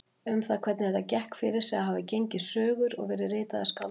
Um það hvernig þetta gekk fyrir sig hafa gengið sögur og verið ritaðar skáldsögur.